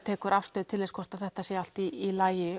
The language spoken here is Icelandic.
tekur afstöðu hvort þetta sé allt í lagi